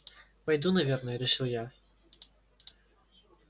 войду наверное решил я